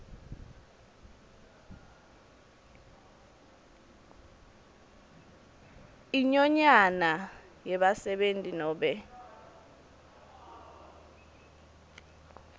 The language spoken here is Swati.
inyonyane yebasebenti nobe